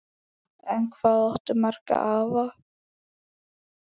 En hvað áttu marga afa?